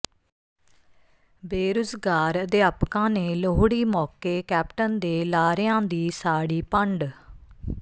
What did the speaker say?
ਬੇਰੁਜ਼ਗਾਰ ਅਧਿਆਪਕਾਂ ਨੇ ਲੋਹੜੀ ਮੌਕੇ ਕੈਪਟਨ ਦੇ ਲਾਰਿਆਂ ਦੀ ਸਾੜੀ ਪੰਡ